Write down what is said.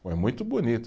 Foi muito bonito.